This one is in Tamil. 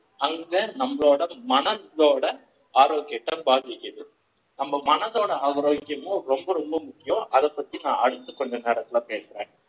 அங்க நம்மளோட மனசோட ஆரோக்கியத்தை பாதிக்குது நம்ம மனசோட ஆரோக்கியமும் ரொம்ப ரொம்ப முக்கியம் அதைப் பற்றி அடுத்து கொஞ்ச நேரத்துல பேசுறேன்